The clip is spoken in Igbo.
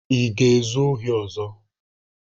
Ị ga-ezu ohi ọzọ?